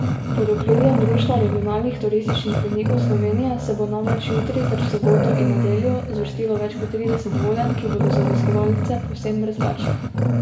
Pod okriljem Društva regionalnih turističnih vodnikov Slovenije se bo namreč jutri ter v soboto in nedeljo zvrstilo več kot trideset vodenj, ki bodo za obiskovalce povsem brezplačna.